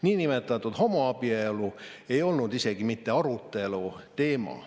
Niinimetatud homoabielu ei olnud isegi mitte aruteluteema.